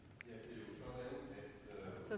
i